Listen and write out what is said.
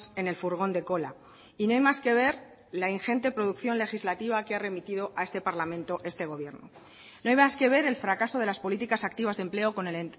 en el furgón de cola y no hay más que ver la ingente producción legislativa que ha remitido a este parlamento este gobierno no hay más que ver el fracaso de las políticas activas de empleo con el